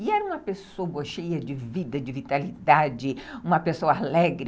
E era uma pessoa cheia de vida, de vitalidade, uma pessoa alegre.